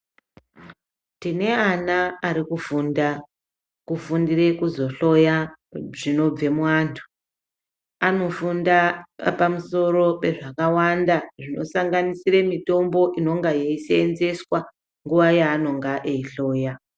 Tine vana ari kufunda kufundire kuzohloya zvinobve muantu anofunda papamusoro pezvakawanda zvinosanganisire mutombo inenga yeisenzeswa nguwa yaanenga eihloya.